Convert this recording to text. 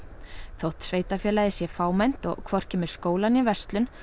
þótt sveitarfélagið sé fámennt og hvorki með skóla né verslun